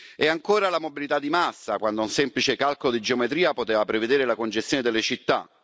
E ancora la mobilità di massa, quando un semplice calcolo di geometria poteva prevedere la congestione delle città.